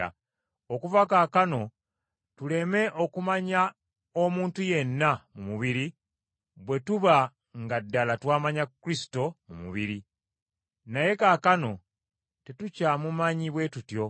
okuva kaakano, tuleme okumanya omuntu yenna mu mubiri, bwe tuba nga ddala twamanya Kristo mu mubiri. Naye kaakano tetukyamumanyi bwe tutyo.